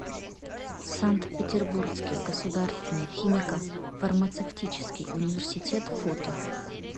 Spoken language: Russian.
санкт петербургский государственный химико фармацевтический университет фото